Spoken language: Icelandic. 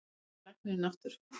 Þá kemur læknirinn aftur.